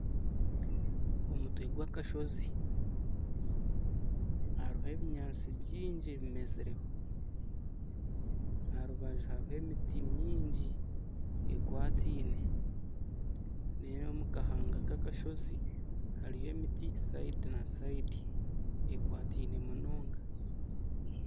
Omutwe gw'akashozi hariho ebinyaatsi byingi ebimezireho aha rubaju hariho emiti mingi ekwataine reeru omu kahanga ka kashozi hariyo emiti sayidi na sayidi ekwataine munonga.